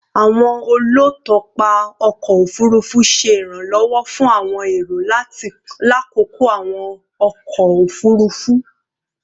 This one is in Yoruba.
Awọn olutọpa ọkọ ofurufu ṣe iranlọwọ fun awọn ero lakoko awọn ọkọ ofurufu